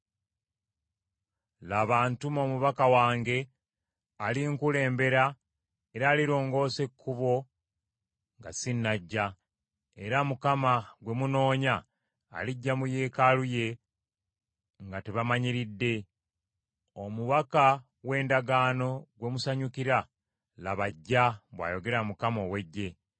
“Laba, ntuma omubaka wange, alinkulembera era alirongoosa ekkubo nga sinnajja: era Mukama gwe munoonya alijja mu yeekaalu ye nga tebamanyiridde; omubaka w’endagaano gwe musanyukira, laba ajja,” bw’ayogera Mukama ow’Eggye.